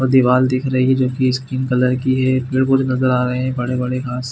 दीवाल दिख रही है जो की स्किन कलर की है पेड़ पौधे नज़र आ रहे हैं बड़े - बड़े घास --